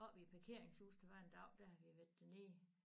Oppe i parkeringshus der var en dag der havde vi været dernede